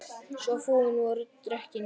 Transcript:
Svo fúin voru dekkin.